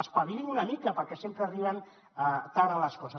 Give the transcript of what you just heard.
espavilin se una mica perquè sempre arriben tard a les coses